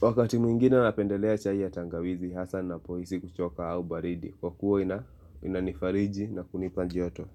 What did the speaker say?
Wakati mwingine napendelea chai ya tangawizi hasa napohisi kuchoka au baridi. Kwa kuwa inanifariji na kunipajoto.